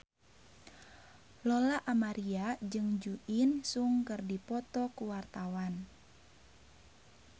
Lola Amaria jeung Jo In Sung keur dipoto ku wartawan